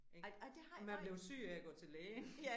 Ik. Og man bliver syg af at gå til lægen